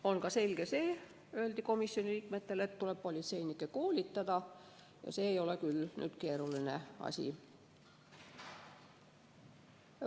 On ka selge, öeldi komisjoni liikmetele, et tuleb politseinikke koolitada, ja see ei ole küll keeruline asi.